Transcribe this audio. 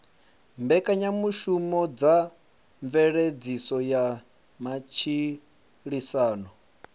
mbekanyamushumo dza mveledziso ya matshilisano